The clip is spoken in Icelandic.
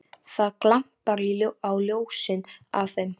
Það glampar á ljósin af þeim.